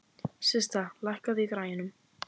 Systa, lækkaðu í græjunum.